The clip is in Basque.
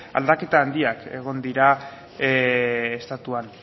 aldaketa handiak egon dira estatuan